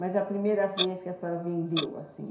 Mas é a primeira vez que a senhora vendeu assim?